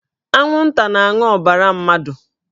Anwụnta na-aṅụ ọbara mmadụ